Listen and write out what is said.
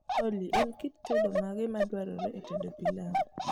olly en kik tedo mage madwarore e tedo pilau